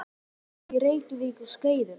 Heitt vatn fékkst með borun á Reykjum á Skeiðum.